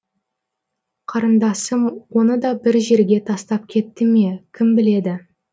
қарындасым оны да бір жерге тастап кетті ме кім біледі